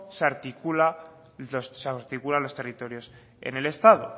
se articulan los territorios en el estado